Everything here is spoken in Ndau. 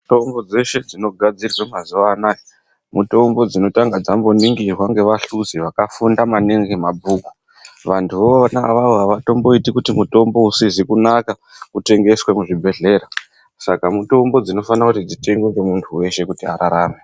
Mitombo dzeshe dzinogadzirwe mazuwa anaya mutombo dzinotanga dzamboningirwa ngevahluzi vakafunda maningi mabhuku. Vantuvona avavo havatomboiti kuti mutombo usizi kunaka utengeswe muzvibhehlera saka mutombo dzinofana kuti dzitengwe ngemunhu weshe kuti ararame.